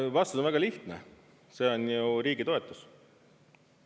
Vastus on väga lihtne: see on ju riigi toetus.